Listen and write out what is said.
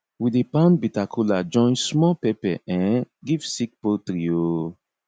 we dey pound bitter kola join small pepper um give sick poultry um